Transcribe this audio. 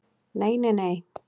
Nei nei nei nei.